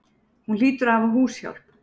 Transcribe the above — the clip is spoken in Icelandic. Hún hlýtur að hafa húshjálp.